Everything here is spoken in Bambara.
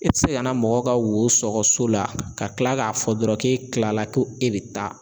E ti se ka na mɔgɔ ka wo sɔgɔ so la ka tila k'a fɔ dɔrɔn k'e tilala ko e be taa